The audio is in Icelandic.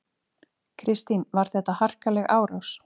Kristín: Var þetta harkaleg árás?